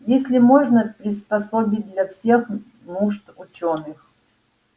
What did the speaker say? её можно приспособить для всех нужд учёных